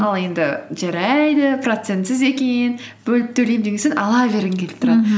ал енді жарайды процентсіз екен бөліп төлеймін деген соң ала бергің келіп